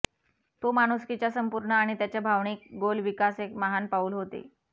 तो माणुसकीच्या संपूर्ण आणि त्याच्या भावनिक गोल विकास एक महान पाऊल होते